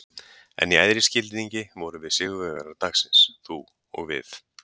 En í æðri skilningi vorum við sigurvegarar dagsins- þú og við.